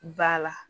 Ba la